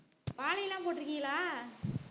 வாழை எல்லாம் போட்டுருக்கீங்களா